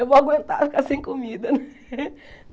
Eu vou aguentar ficar sem comida.